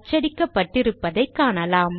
அச்சடிக்கப்பட்டிருப்பதைக் காணலாம்